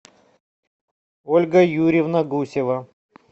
ольга юрьевна гусева